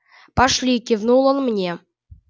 пошли кивнул он мне